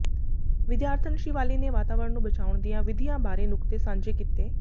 ਵਿਦਿਆਰਥਣ ਸ਼ਿਵਾਲੀ ਨੇ ਵਾਤਾਵਰਨ ਨੂੰ ਬਚਾਉਣ ਦੀਆਂ ਵਿਧੀਆਂ ਬਾਰੇ ਨੁਕਤੇ ਸਾਂਝੇ ਕੀਤੇ